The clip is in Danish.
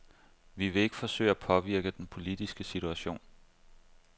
Vi vil ikke forsøge at påvirke den politiske situation.